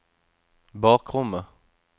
bakrommet